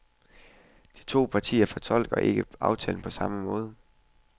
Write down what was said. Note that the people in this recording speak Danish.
De to parter fortolker ikke aftalen på samme måde.